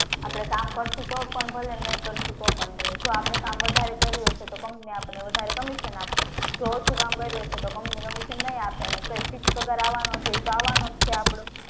આપડે કામ કરશુ તો પણ ભલે અને આપડે કામ નઈ કરશુ તો પણ ભલે કામ વધારે કર્યું હશે તો company આપશે અને વધારે commission આપશે અને જો ઓછું કર્યું હશે તો company commission નહીં આપે જે fix પગાર છે એ અવાનો છે અવાનો છે આપડો